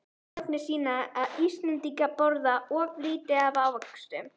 Rannsóknir sýna að Íslendingar borða of lítið af ávöxtum.